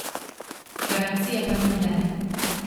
Garancije pa ni nobene.